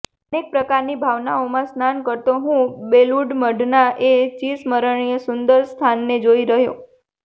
અનેક પ્રકારની ભાવનાઓમાં સ્નાન કરતો હું બેલુડ મઠના એ ચિરસ્મરણીય સુંદર સ્થાનને જોઇ રહ્યો